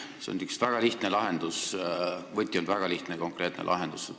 See on üks väga lihtne lahendus, võti on väga lihtne ja konkreetne lahendus.